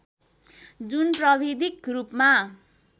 जुन प्राविधिक रूपमा